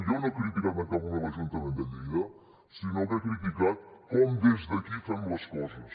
jo no he criticat en cap moment l’ajuntament de lleida sinó que he criticat com des d’aquí fem les coses